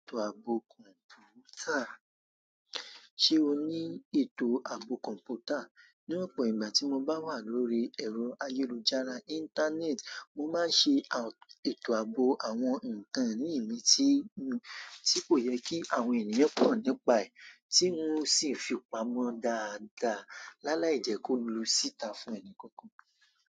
Ètò ààbò kọ̀ǹpútà. Ṣé o ní ètò ààbò kọ̀ǹpútà? Ní ọ̀pọ̀ ìgbà tí mo bá wà lórí ẹ̀rọ ayélujára íńtánẹ́ẹ̀tì, mo máa ń ṣe ètò ààbò àwọn nkan iní mí tí kò yẹ kí àwọn ènìyàn mọ̀ nípa ẹ̀ tí un o sì fi pamọ́ dáadáa lálàí jẹ́ kó lu síta fún ẹni kankan.